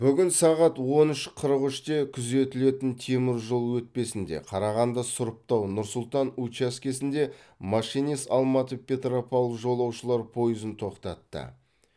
бүгін сағат он үш қырық үште күзетілетін теміржол өтпесінде қарағанды сұрыптау нұр сұлтан учаскесінде машинист алматы петропавл жолаушылар пойызын тоқтатты